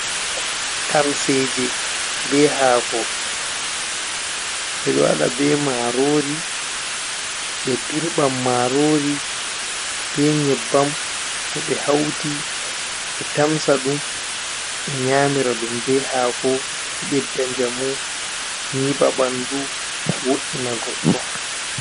Tamseje be hako ɓeɗo waɗa be marori, ɓe dirɓan marori ɓe nyebbam towɓe hauti ɓe tamsa ɗum. Ɓe nyamira ɗum be hako ɗo ɓedda njamu nyiba bandu wo’ina goɗɗo.